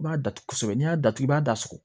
I b'a datugu kosɛbɛ n'i y'a datugu i b'a da so